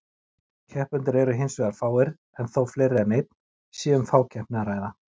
Keppendur eru hins vegar fáir, en þó fleiri en einn, sé um fákeppni að ræða.